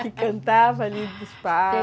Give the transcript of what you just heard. (rio) Que cantava ali do espaço.